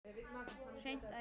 Hreint æði!